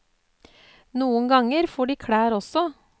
Noen ganger får de klær også.